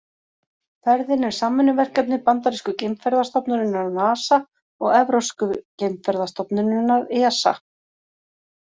Ferðin er samvinnuverkefni bandarísku geimferðastofnunarinnar NASA og evrópsku geimferðastofnunarinnar ESA.